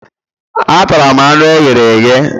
Atara m anụ e ghere eghe